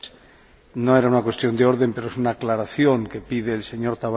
No era una cuestión de orden, pero es una aclaración que pide el señor Tavares.